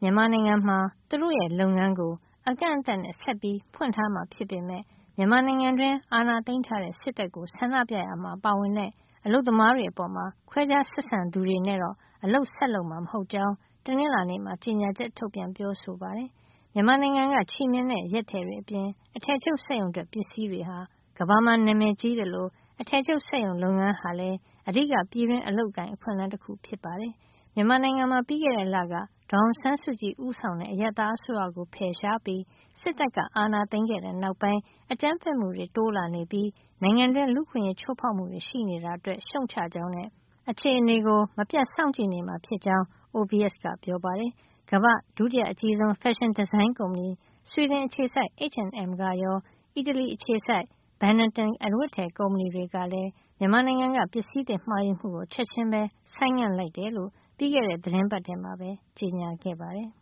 မြန်မာနိုင်ငံမှာ သူတို့ရဲ့ လုပ်ငန်းကို အကန့်အသတ်နဲ့ ဆက်ဖွင့်ထားမှာ ဖြစ်ပေမယ့် မြန်မာနိုင်ငံတွင်း အာဏာသိမ်းထားတဲ့ စစ်တပ်ကို ဆန္ဒပြရာမှာ ပါဝင်တဲ့ အလုပ်သမားတွေ အပေါ်ခွဲခြားဆက်ဆံသူတွေနဲ့တော့ အလုပ်ဆက်လုပ်မှာ မဟုတ်ကြောင်း တနင်္လာနေ့မှာ ကြေညာချက် ထုတ်ပြန် ပြောဆိုပါတယ်။ မြန်မာနိုင်ငံက ချည်မျှင်နဲ့ ရက်ထည်တွေအပြင် အထည်ချုပ်စက်ရုံထွက် ပစ္စည်းတွေဟာ ကမ္ဘာမှာ နာမည်ကြီးသလို အထည်ချုပ်စက်ရုံလုပ်ငန်းဟာလည်း အဓိက ပြည်တွင်းအလုပ်အကိုင် အခွင့်အလမ်းတခု ဖြစ်ပါတယ်။ မြန်မာနိုင်ငံမှာ ပြီးခဲ့တဲ့လက ဒေါ်အောင်ဆန်းစုကြည် ဦးဆောင်တဲ့ အရပ်သားအစိုးရကို ဖယ်ရှားပြီး စစ်တပ်က အာဏာသိမ်းခဲ့တဲ့ နောက်ပိုင်း အကြမ်းဖက်မှုတွေ တိုးလာနေပြီး နိုင်ငံတွင်း လူ့အခွင့်ရေးချိုးဖောက်မှုတွေ ရှိနေတာ အတွက် ရှုတ်ချကြောင်းနဲ့ အခြေနေကို မပြတ်စောင့်ကြည့်နေမှာ ဖြစ်ကြောင်းလည်း OVS က ပြောပါတယ်။ ကမ္ဘာ့ ဒုတိယအကြီးဆုံး ဖက်ရှင်ဒီဇိုင်း ကုမ္ပဏီ ဆွီဒင် အခြေစိုက် H&M ကရော အီတလီအခြေစိုက် Benetton အဝတ်အထည် ကုမ္ပဏီတွေကလည်း မြန်မာနိုင်ငံက ပစ္စည်းသစ်မှာယူမှုကို ချက်ချင်းပဲ ဆိုင်းငံ့ လိုက်ကြောင်း ပြီးခဲ့တဲ့ သီတင်းပတ်ထဲမှာပဲ ကြေညာခဲ့ပါတယ်။